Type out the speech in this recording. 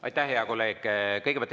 Aitäh, hea kolleeg!